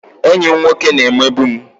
Enyi m nwoke na-emegbu m